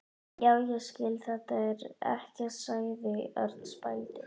Já, ég skil þetta ekki sagði Örn spældur.